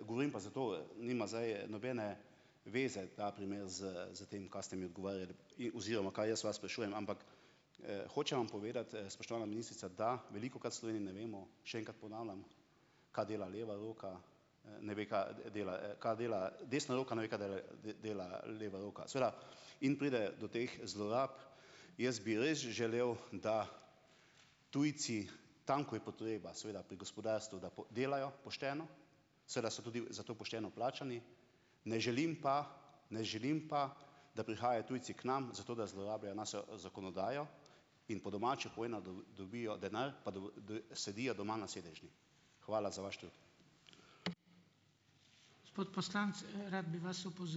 Govorim pa zato, nima zdaj nobene veze ta primer s s tem, kaj ste mi odgovarjali oziroma kaj jaz vas sprašujem, ampak, hočem vam povedati, spoštovana ministrica, da velikokrat v Sloveniji ne vemo, še enkrat ponavljam, kaj dela leva roka, ne ve, kaj dela, kaj dela, desna roka ne ve, kaj dela dela leva roka, seveda in pride do teh zlorab. Jaz bi res želel, da tujci tam, ko je potreba, seveda pri gospodarstvu, da delajo pošteno, seveda so tudi za to pošteno plačani, ne želim pa, ne želim pa, da prihajajo tujci k nam zato, da zlorabljajo našo, zakonodajo in po domače povedano, dobijo denar pa sedijo doma na sedežni. Hvala za vaš trud.